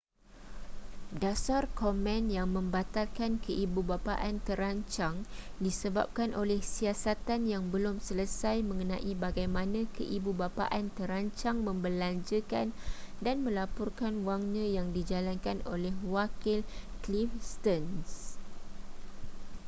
dasar komen yang membatalkan keibubapaan terancang disebabkan oleh siasatan yang belum selesai mengenai bagaimana keibubapaan terancang membelanjakan dan melaporkan wangnya yang dijalankan oleh wakil cliff stearns